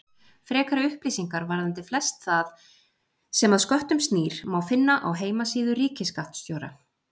Frekari upplýsingar varðandi flest það sem að sköttum snýr má finna á heimasíðu ríkisskattstjóra.